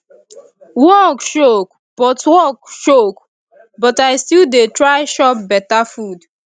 work choke but work choke but i still dey try chop beta food